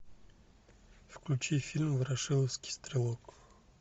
включи фильм ворошиловский стрелок